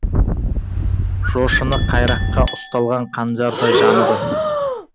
жошыны қайраққа ұсталған қанжардай жаныды